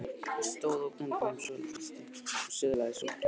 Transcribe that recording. Hann stóð ógnandi yfir mér svolitla stund og silaðist svo út úr herberginu.